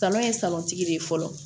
Tɔnɔ ye de ye fɔlɔ